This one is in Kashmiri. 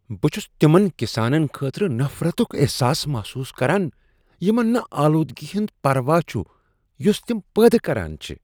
بہٕ چھس تمن کسانن خٲطرٕ نفرتک احساس محسوس کران یمن نہٕ آلودگی ہُند پروا چھ یس تم پٲدٕ کران چھ۔